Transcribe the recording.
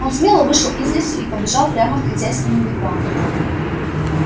он смело вышел из лесу и побежал прямо к хозяйскому вигваму